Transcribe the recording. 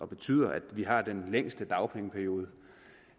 betyder at vi har den længste dagpengeperiode